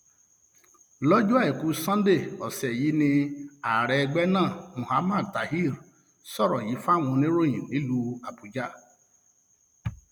lọjọ àìkú sanńdé ọsẹ yìí ni ààrẹ ẹgbẹ náà muhammad talir sọrọ yìí fáwọn oníròyìn nílùú àbújá